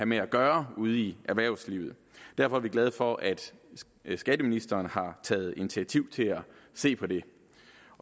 med at gøre ude i erhvervslivet derfor er vi glade for at skatteministeren har taget initiativ til at se på det